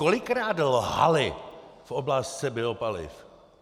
Kolikrát lhali v otázce biopaliv?